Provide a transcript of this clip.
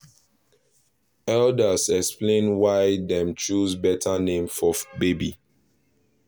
elders explain why dem choose better name for baby